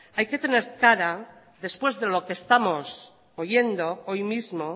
después de lo que estamos oyendo hoy mismo